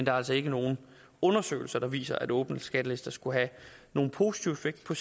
er altså ikke nogen undersøgelser der viser at åbne skattelister skulle have nogen positiv effekt på